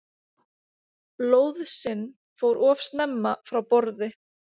Lóðsinn fór of snemma frá borði